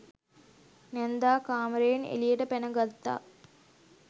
නැන්දා කාමරයෙන් එළියට පැන ගත්තා.